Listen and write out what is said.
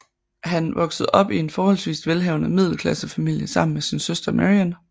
Han voksede op i en forholdsvis velhavende middelklassefamilie sammen med sin søster Marion